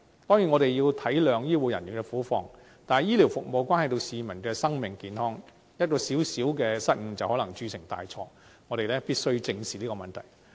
當然，我們要體諒醫護人員的苦況，但醫療服務關係到市民的生命健康，一個小失誤就能鑄成大錯，我們必須正視這個問題。